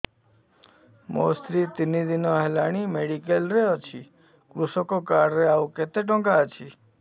ମୋ ସ୍ତ୍ରୀ ତିନି ଦିନ ହେଲାଣି ମେଡିକାଲ ରେ ଅଛି କୃଷକ କାର୍ଡ ରେ ଆଉ କେତେ ଟଙ୍କା ଅଛି